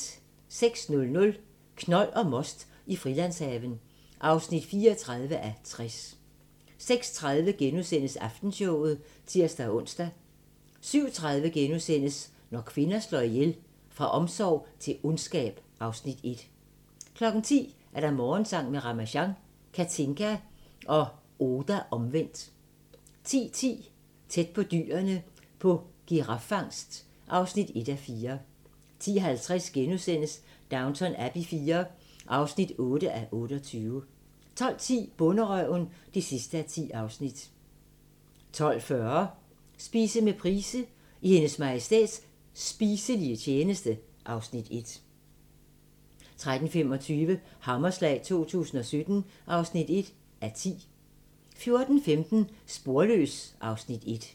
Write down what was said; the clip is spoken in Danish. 06:00: Knold og most i Frilandshaven (34:60) 06:30: Aftenshowet *(tir-ons) 07:30: Når kvinder slår ihjel - Fra omsorg til ondskab (Afs. 1)* 10:00: Morgensang med Ramasjang | Katinka og Oda Omvendt 10:10: Tæt på dyrene på giraffangst (1:4) 10:50: Downton Abbey IV (8:28)* 12:10: Bonderøven (10:10) 12:40: Spise med Price – I Hendes Majestæts spiselige tjeneste (Afs. 1) 13:25: Hammerslag 2017 (1:10) 14:15: Sporløs (Afs. 1)